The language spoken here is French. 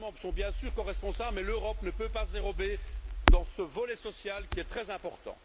Les États membres sont bien sûr coresponsables, mais l'Europe ne peut pas se dérober dans ce volet social qui est très important.